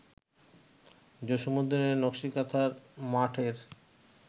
জসীমউদ্দীনের নকসী কাঁথার মাঠ-এর